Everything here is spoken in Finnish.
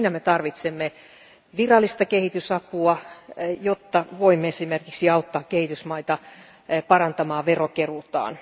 Tarvitsemme virallista kehitysapua, jotta voimme esimerkiksi auttaa kehitysmaita parantamaan veronkeruutaan.